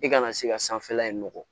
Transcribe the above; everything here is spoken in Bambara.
I kana se ka sanfɛla in nɔgɔ